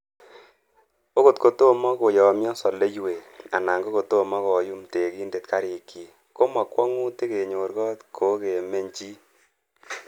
Okot kotomo koyomyo soleiwek, anan kokotomo koyum tekindet garikyik, ko mo kwong'utik kenyor got kokemeny chii.